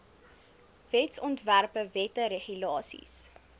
wetsontwerpe wette regulasies